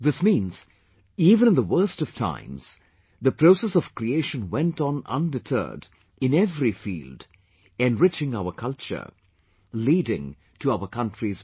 This means, even in the worst of times, the process of creation went on undeterred in every field, enriching our culture, leading to our country's progress